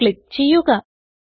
run click ചെയ്യുക